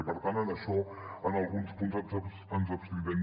i per tant en això en alguns punts ens abstindrem